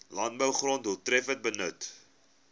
landbougrond doeltreffender benut